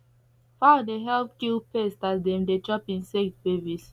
fowl dey help kill pest as dem dey chop insect babies